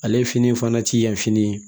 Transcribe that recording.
Ale fini fana ti yan fini